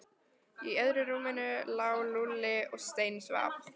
Í öðru rúminu lá Lúlli og steinsvaf.